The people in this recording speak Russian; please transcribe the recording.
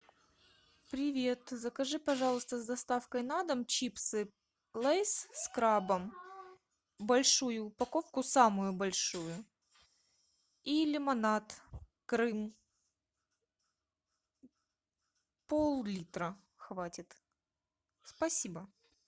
привет закажи пожалуйста с доставкой на дом чипсы лейс с крабом большую упаковку самую большую и лимонад крым пол литра хватит спасибо